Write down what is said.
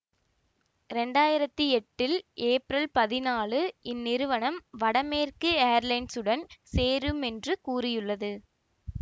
இரண்டு ஆயிரத்தி எட்டில் ஏப்ரல் பதினாலு இந்நிறுவனம் வடமேற்கு எயர்லைன்ஸ் உடன் சேரும் என்று கூறியுள்ளது